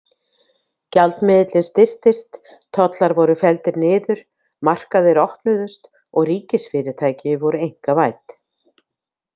Gjaldmiðillinn styrktist, tollar voru felldir niður, markaðir opnuðust og ríkisfyrirtæki voru einkavædd.